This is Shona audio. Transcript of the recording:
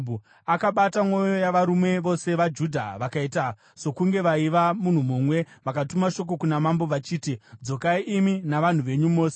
Akabata mwoyo yavarume vose veJudha vakaita sokunge vaiva munhu mumwe. Vakatuma shoko kuna mambo vachiti, “Dzokai, imi navanhu venyu mose.”